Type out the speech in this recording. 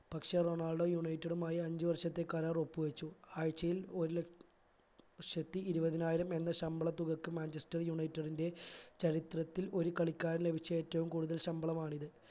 പക്ഷെ Ronaldo united മായി അഞ്ചുവർഷത്തെ കരാർ ഒപ്പ് വച്ചു ആഴ്ചയിൽ ഒരു ല ലക്ഷത്തി ഇരുപതിനായിരം എന്ന ശമ്പള തുകക്ക് മാഞ്ചസ്റ്റർ united ന്റെ ചരിത്രത്തിൽ ഒരു കളിക്കാരന് ലഭിച്ച ഏറ്റവും കൂടുതൽ ശമ്പളമാണിത്